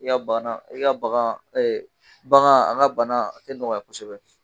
I ka bana i ka baga ɛ bagan a ka bana a te nɔgɔya kosɛbɛ